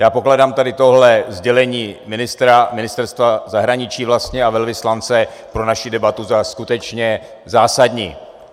Já pokládám tady tohle sdělení ministra, Ministerstva zahraničí vlastně, a velvyslance pro naši debatu za skutečně zásadní.